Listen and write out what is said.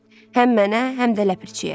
Həm mənə, həm də ləpirçiyə.